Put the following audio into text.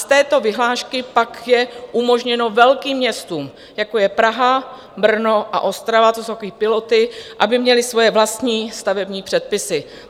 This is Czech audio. Z této vyhlášky pak je umožněno velkým městům, jako je Praha, Brno a Ostrava - to jsou takové piloty - aby měly svoje vlastní stavební předpisy.